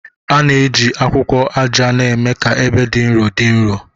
A na-eji akwụkwọ aja na-eme ka ebe dị nro dị nro